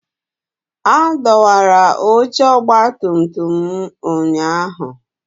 A dọwara oche ọgbatumtum m ụnyahụ